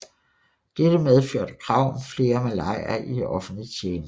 Dette medførte krav om flere malayer i offentlig tjeneste